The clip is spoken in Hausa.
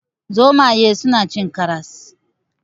Zomaye suna cin karas.